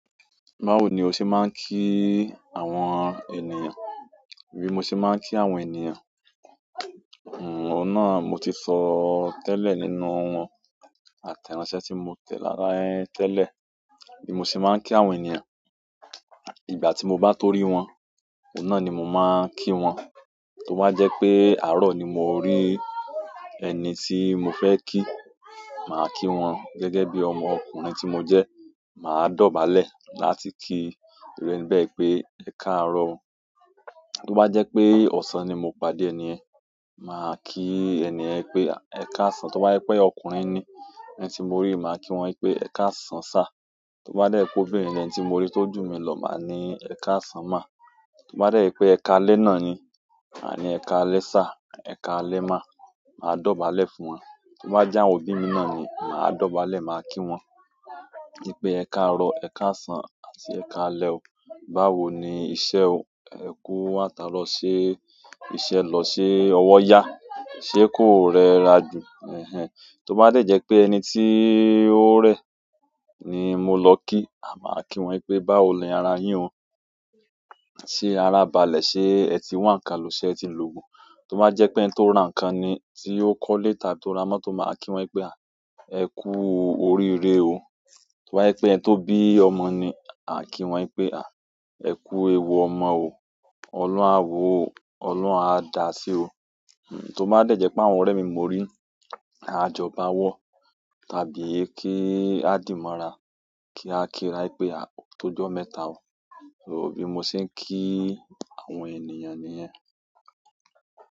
Báwo ni o ṣe máa ń kí àwọn ènìyàn? Bí mo ṣe máa ń kí àwọn ènìyàn, òun náà mo ti sọ ó tẹ́lẹ̀ nínú àtẹ̀ránsẹ́ tí mo tẹ̀ rára ẹ tẹ́lẹ̀. Bí mo ṣe máa ń kí àwọn ènìyàn, ìgbà tí mo bá tó rí wọn, òun náà ni mo máa ń kí wọn. Tí ó bá jẹ́ pé àárọ̀ ni mo rí ẹni tí mo fẹ́ kí, màá kí wọn gẹ́gẹ́ bí ọmọ ọkùnrin tí mo jẹ́, màá dọ̀bálẹ̀ láti kí ìru ẹni bẹ pẹ́, "ẹ káàárọ̀ o". Tí ó bá jẹ́ pé ọ̀sán ni mo padà ẹni yen, màá kí ẹni yen pé, "ẹ káàsán". Tí ó bá jẹ́ pé ọkùnrin ni ẹni tí mo rí, màá kí wọ́n pé, "ẹ káàsán sá". Tí ó bá de jẹ́ pé obìnrin ní ẹni tí mo rí tí ó ju mi lọ, màá ní, "ẹ káàsán ma". Tí ó bá jẹ́ pé ẹ káalẹ́ náà ni, màá ní, "ẹ káalẹ́ sir ẹ káalẹ́ ma". Màá dọ̀bálẹ̀ fún wọn. Tí ó bá jẹ́ àwọn òbí mi náà ni, màá dọ̀bálẹ̀, màá kí wọ́n pé, "wípé e káàrọ̀, ẹ káàsán àti ẹ káalẹ́ o". Báwo ni iṣẹ́ o. Ẹ kú àtaaro se iṣẹ́ lọ, se iṣẹ́ lọ ṣe ọwọ́ yá, ṣé kò rẹra jù? Ẹ̀hẹn. Tí ó bá de jẹ́ pé ẹni tí ó rẹ̀ ni mo lọ kí, màá kí wọ́n pé, "báwo ni ara yín o, ṣé ara balẹ̀ ṣe ẹ ti wà ńkan lòó ṣe ẹ ti ń lògùn". Tí ó bá jẹ́ pé ẹni tó ra nǹkan ni tí ó kọ́le tàbí ti ó ra mọ́tò, màá kí wọ́n pé, "àh! Ẹ kú oríire o". Tí ó bá jẹ́ pé ẹni tó bí ọmọ ni, má kí wọ́n pé, "à, ẹ kú ewu ọmọ o, Ọlọ́run a wo o, Ọlọ́run a dá a sí o". Tí ó bá jẹ́ pé àwọn ọ̀rẹ́ mi mo rí, a jọ bá a wọ́, tàbí kí a dìímọ́ra kí a kíra pé, "àhh o tó ojọ́ mẹ́ta o". So bí mo ṣe ń kí àwọn ènìyàn nìyẹn.